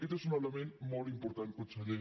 aquest és un element molt important conseller